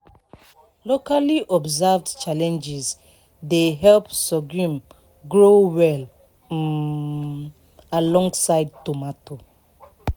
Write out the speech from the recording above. locally observed challenges dey help sorghum grow well um alongside tomato